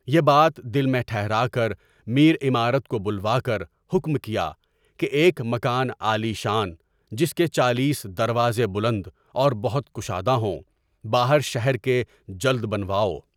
یہ یات دل میں ٹھہرا کر میرِ عمارت کو بلوا کر حکم کیا کہ ایک مکان عالی شان جس کے چالیس دروازے بلند اور بہت کشادہ ہوں، باہر شہر کے جلد بنواؤ۔